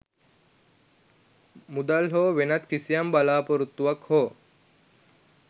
මුදල් හෝ වෙනත් කිසිම බලාපොරොත්තුවක් හෝ